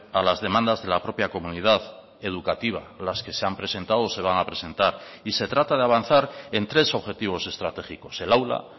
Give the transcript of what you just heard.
a las demandas de la propia comunidad educativa las que se han presentado o se van a presentar y se trata de avanzar en tres objetivos estratégicos el aula